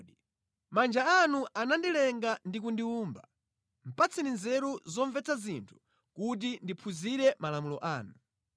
Manja anu anandilenga ndi kundiwumba; patseni nzeru zomvetsa zinthu kuti ndiphunzire malamulo anu.